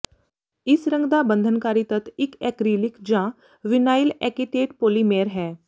ਇਸ ਰੰਗ ਦਾ ਬੰਧਨਕਾਰੀ ਤੱਤ ਇੱਕ ਐਕ੍ਰੀਲਿਕ ਜਾਂ ਵਿਨਾਇਲ ਐਕਿਟੇਟ ਪੌਲੀਮੈਂਰ ਹੈ